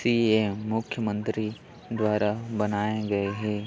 थी ये मुख्यमंत्री द्वारा बनाए गए है।